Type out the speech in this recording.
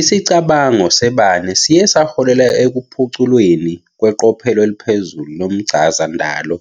Isicabango sebane siye saholela ekuphuculweni kweqophelo eliphezulu lomchazandalo